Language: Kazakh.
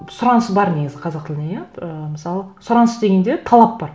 сұраныс бар негізі қазақ тіліне иә ыыы мысалы сұраныс дегенде талап бар